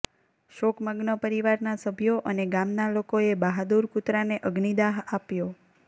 શોકમગ્ન પરિવારના સભ્યો અને ગામના લોકોએ બહાદુર કૂતરાને અગ્નિદાહ આપ્યો